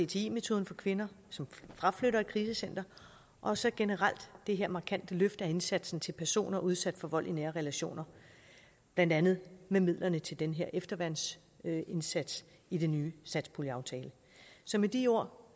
cti metoden for kvinder som fraflytter et krisecenter og så generelt det her markante løft af indsatsen til personer udsat for vold i nære relationer blandt andet med midlerne til den her efterværnsindsats i den nye satspuljeaftale så med de ord